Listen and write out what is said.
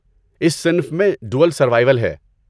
اسی صنف میں 'ڈوول سروائول' ہے۔